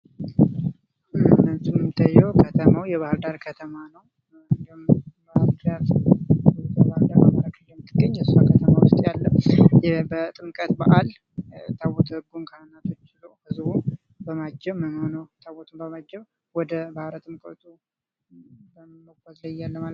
እንደሚታዬው ከተማው የባህርዳር ከተማ ነው። ባህርዳር በአማራ ክልል የምትገኝ እሷ ከተማ ውስጥ ያለ በጥምቀት በአል ታቦተ ህጉን ካህናቶች እንዲሁም ህዝቡታቦቱን በማጀብ ወደ ባህረ ጥምቀቱ በመጓዝ ላይ እያለ።